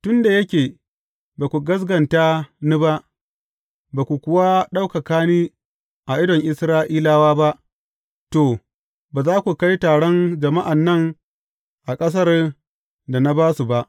Tun da yake ba ku gaskata ni ba, ba ku kuwa ɗaukaka ni a idon Isra’ilawa ba, to, ba za ku kai taron jama’an nan a ƙasar da na ba su ba.